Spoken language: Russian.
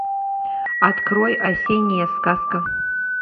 открой осенняя сказка